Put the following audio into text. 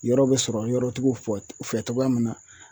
Yɔrɔ bɛ sɔrɔ yɔrɔtigiw fɛ cogoya min na